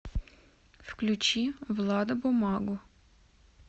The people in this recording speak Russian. включи влада бумагу